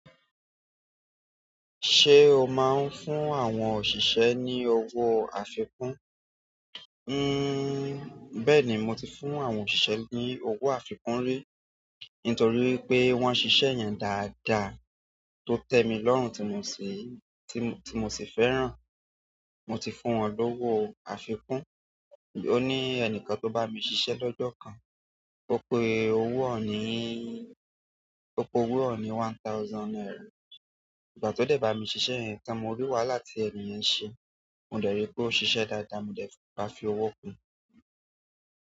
Ṣé o máa ń fún àwọn òṣìṣẹ́ ní owó àfikún? Bẹ́ẹ̀ni mo ti fún àwọn òṣìṣẹ́ ní owó àfikún rí, nítorí wipé wọ́n ṣiṣẹ́ yẹn dáadáa tó tẹ́ mi lọ́rùn tí mo sì, tí mo, tí mo sì fẹ́ràn. Mo ti fún wọn lówó àfikún. Ó ní ẹnìkan tó bá mi ṣiṣẹ́ lọ́jọ́ kan, ó pe owó onì pe owó ọ̀nì one thousand naira. Ìgbà tí ó dé bá mi ṣiṣẹ́ yẹn tan mọ rí wáhala ti ẹniyẹn ṣe, mo dẹ̀ rí pé ó ṣiṣẹ́ dáadáa, mo dẹ̀ bá fi owó kun.